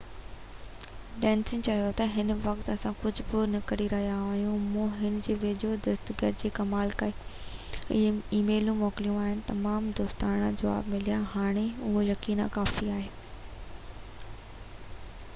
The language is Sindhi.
ڊينيس چيو ته هن وقت اسان ڪجهه به نه ڪري رهيا آهيون مون هُن جي ويجهي دستگير کي ڪال ڪئي ۽ اي ميلون موڪليون آهن ۽ تمام دوستاڻا جواب مليو هاڻي لاءِ اهو يقيناً ڪافي آهي